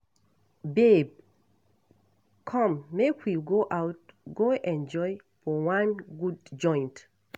Babe come make we go out go enjoy for wan good joint.